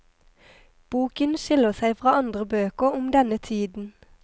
Boken skiller seg fra andre bøker om denne tiden.